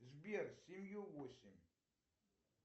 сбер семью восемь